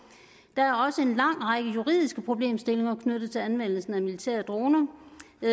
der er også en lang række juridiske problemstillinger knyttet til anvendelsen af militære droner